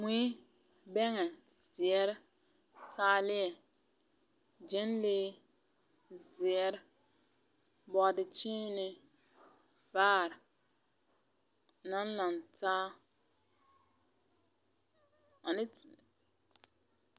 Mui, bɛngɛ, zeɛrre, taalieɛ, gyenlee, zeɛre, bɔɔdekyiinee, vaare naŋ laŋtaa